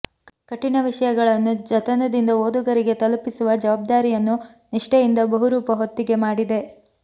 ಕಠಿಣ ವಿಷಯಗಳನ್ನು ಜತನದಿಂದ ಓದುಗರಿಗೆ ತಲುಪಿಸುವ ಜವಬ್ದಾರಿಯನ್ನು ನಿಷ್ಠೆಯಿಂದ ಬಹುರೂಪ ಹೊತ್ತಿಗೆ ಮಾಡಿದೆ